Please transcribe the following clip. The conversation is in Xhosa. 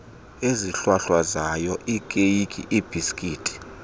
ezihlwahlwazayo iikeyiki iibhisikithi